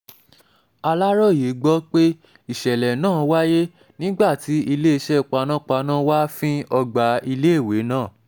aláròye aláròye gbọ́ pé ìṣẹ̀lẹ̀ náà wáyé nígbà tí iléeṣẹ́ panápaná wàá fín ọgbà iléèwé náà